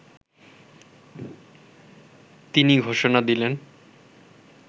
তিনি ঘোষণা দিলেন